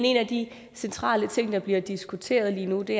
en af de centrale ting der bliver diskuteret lige nu og det